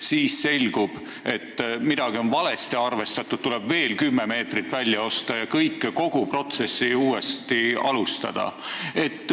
Siis selgus, et midagi on valesti arvestatud, tuleb veel 10 meetrit välja osta ja kogu protsessi peab uuesti alustama.